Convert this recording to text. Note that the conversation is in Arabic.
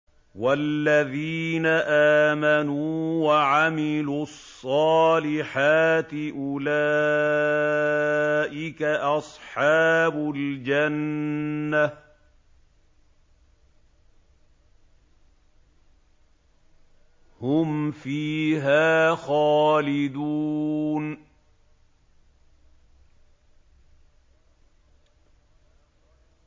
وَالَّذِينَ آمَنُوا وَعَمِلُوا الصَّالِحَاتِ أُولَٰئِكَ أَصْحَابُ الْجَنَّةِ ۖ هُمْ فِيهَا خَالِدُونَ